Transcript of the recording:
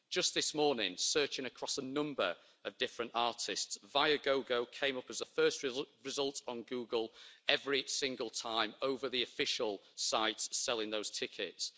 Just this morning, searching across a number of different artists, Viagogo came up as a first result on Google every single time over the official sites selling those tickets.